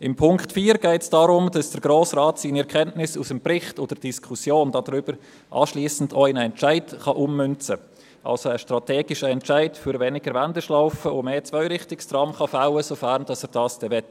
Beim Punkt 4 geht es darum, dass der Grosse Rat seine Erkenntnis aus dem Bericht und der nachfolgenden Diskussion auch in einen Entscheid ummünzen kann, dass er also einen strategischen Entscheid für weniger Wendeschlaufen und mehr Zweirichtungstrams fällen kann, wenn er das dann wollte.